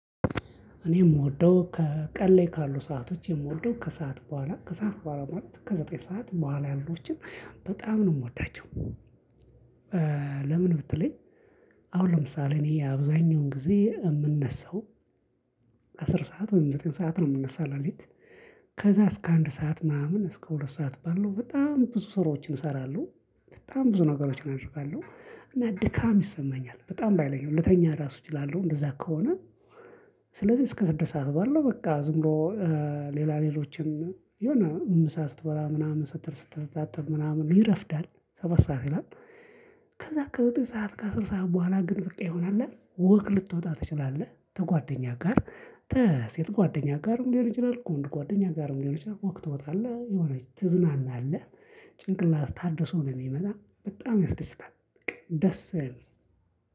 እኔ የምወደው ከቀን ላይ ካሉ ሰአቶች የምወደው ከሰአት በኋላ ከሰአት በኋላ ማለት ከዘጠኝ ሰዓት በኋላ ያሉትን በጣም ነው የምወዳቸው። ለምን ብትለኝ? አሁን ለምሳሌ እኔ አብዛኛውን ጊዜ የምነሳው አስር ሰዓት ወይም ዘጠኝ ሰዓት ነው የምነሳው ለሊት። ከዛ እስከ አንድ ሰዓት ምናምን እስከ ሁለት ሰዓት ባለው በጣም ብዙ ስራዎችን እሰራለሁ። በጣም ብዙ ነገሮችን አድርጋለው እና ድካም ይሰማኛል በጣም ባይለኝም ለተኛ ራሱ እችላለሁ እንደዛ ከሆነ። ስለዚህ እስከ ስድስት ሰዓት ባለው በቃ ዝም ብሎ ሌላ ሌሎችን የሆነ ምሳ ስትበላ ምናምን ስትል ስትዛተል ምናምን ይረፍዳል። ሰባት ሰዓት ይላል። ከዛ ከዘጠኝ ሰዓት ከአስር ሰዓት በኋላ ግን በቃ ይሆናል ወቅ ልትወጣ ትችላለህ ከጓደኛ ጋር ከሴት ጓደኛጋርም ሊሆን ይችላል ከወንድ ጓደኛጋርም ሊሆን ይችላል ወክ ትወጣለህ የሆነ ትዝናናለህ። ጭንቅላትህ ታድሶ ነው የሚመጣው በጣም ያስደስታል በቃ ደስ የለም።